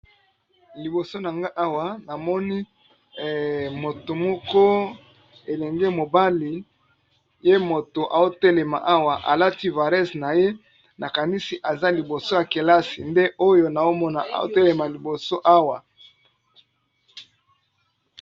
Liboso na nga awa na moni moto moko elenge mobali ye moto aotelema awa alati vares na ye nakanisi aza liboso ya kelasi nde oyo naomona aotelema liboso awa.